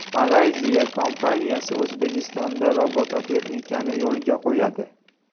Malayziya kompaniyasi O‘zbekistonda robototexnikani yo‘lga qo‘yadi.